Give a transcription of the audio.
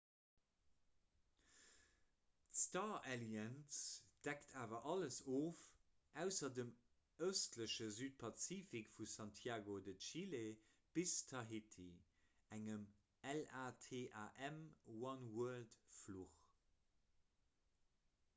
d'star alliance deckt awer alles of ausser dem ëstleche südpazifik vu santiago de chile bis tahiti engem latam-oneworld-fluch